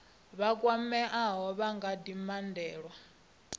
vha kwameaho vha nga dinangela